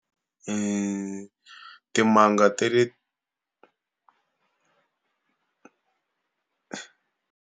Timanga ta le.